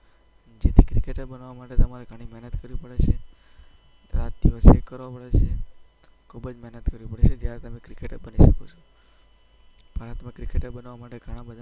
જેથી ક્રિકેટર બનવા માટે તમારે ઘણી મહેનત કરવી પડે છે. રાત-દિવસ એક કરવો પડે છે. ખૂબ જ મહેનત કરવી પડે છે. ત્યારે તમે ક્રિકેટર બની શકો છો.